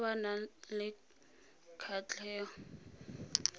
ba ba nang le kgatlhego